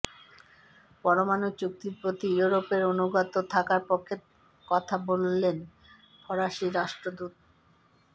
পরমাণু চুক্তির প্রতি ইউরোপের অনুগত থাকার পক্ষে কথা বললেন ফরাসি রাষ্ট্রদূত